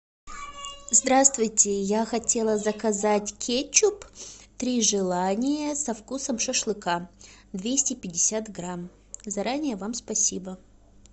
здравствуйте я хотела заказать кетчуп три желания со вкусом шашлыка двести пятьдесят грамм заранее вам спасибо